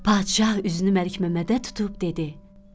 Padişah üzünü Məlikməmmədə tutub dedi: